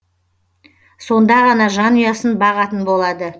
сонда ғана жанұясын бағатын болады